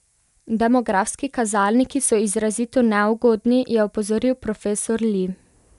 Demografski kazalniki so izrazito neugodni, je opozoril profesor Li.